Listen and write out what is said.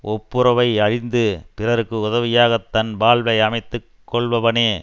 ஒப்புரவை அறிந்து பிறருக்கு உதவியாகத் தன் வாழ்வை அமைத்து கொள்பவனே